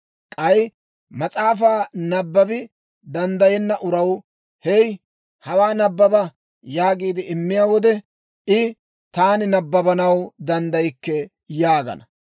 K'ay mas'aafaa nabbabi danddayenna uraw, «Hey, hawaa nabbaba» yaagiide immiyaa wode, I, «Taani nabbabanaw danddaykke» yaagana.